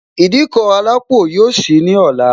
Ìdíkọ̀ alápò yọ sì lọ́la